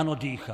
Ano, dýchá.